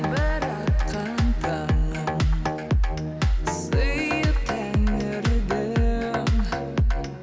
атқан таңым сыйы тәңірдің